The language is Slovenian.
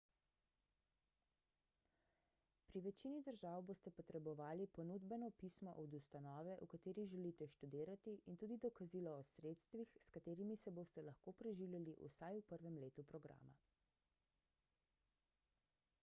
pri večini držav boste potrebovali ponudbeno pismo od ustanove v kateri želite študirati in tudi dokazilo o sredstvih s katerimi se boste lahko preživljali vsaj v prvem letu programa